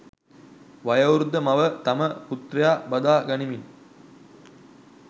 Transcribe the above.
වයෝවෘද්ධ මව තම පුත්‍රයා බදා ගනිමින්